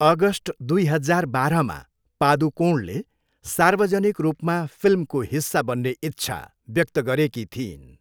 August दुई हजार बाह्रमा पादुकोणले सार्वजनिक रूपमा फिल्मको हिस्सा बन्ने इच्छा व्यक्त गरेकी थिइन्।